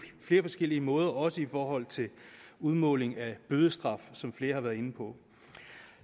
flere forskellige måder også i forhold til udmåling af bødestraf som flere har været inde på